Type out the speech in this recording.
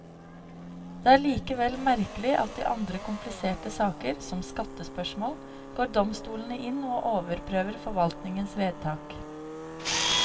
Det er likevel merkelig at i andre kompliserte saker, som skattespørsmål, går domstolene inn og overprøver forvaltningens vedtak.